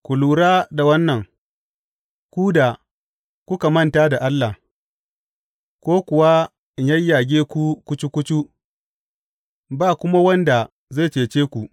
Ku lura da wannan, ku da kuka manta da Allah, ko kuwa in yayyage ku kucu kucu, ba kuma wanda zai cece ku.